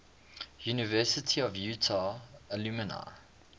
university of utah alumni